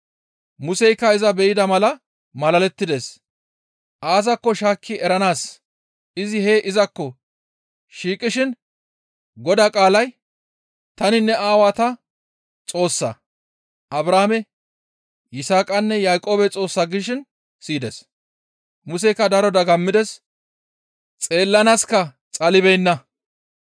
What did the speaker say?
Museykka iza be7ida mala malalettides; aazakko shaakki eranaas izi hee izakko shiiqishin Godaa qaalay, ‹Tani ne aawantta Xoossaa; Abrahaame, Yisaaqanne Yaaqoobe Xoossa› gishin siyides. Museykka daro dagammides; xeellanaaska xalibeenna.